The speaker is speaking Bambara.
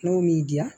N'o m'i diya